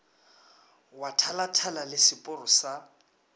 wa thalathala le seporo sa